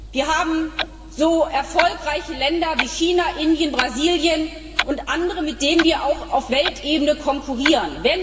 Wir haben so erfolgreiche Länder wie China, Indien, Brasilien und andere, mit denen wir auf Weltebene konkurrieren.